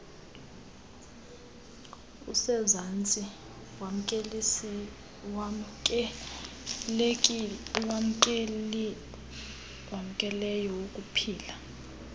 usezantsi wamkelekileyo wokuphila